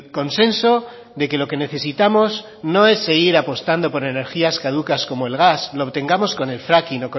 consenso de que lo que necesitamos no es seguir apostando por energías caducas como el gas lo obtengamos con el fracking